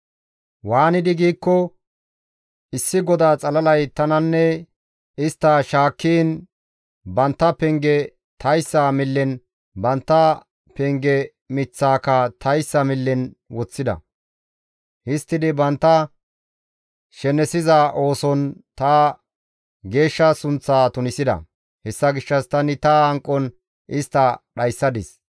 Waanidi giikko, issi goda xalalay tananne isttanne shaakkiin, bantta penge tayssa millen, bantta penge miththaaka tayssa millen woththida. Histtidi bantta shenesiza ooson ta geeshsha sunththa tunisida. Hessa gishshas tani ta hanqon istta dhayssadis.